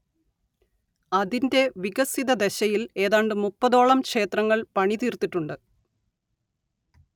അതിന്റെ വികസിതദശയിൽ ഏതാണ്ട് മുപ്പതോളം ക്ഷേത്രങ്ങൾ പണിതീർത്തിട്ടുണ്ട്